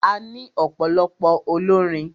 A ní ọ̀pọ̀lọpọ̀ olórin.